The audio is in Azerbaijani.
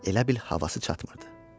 Elə bil havası çatmırdı.